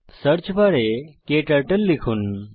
search বারে ক্টার্টল লিখুন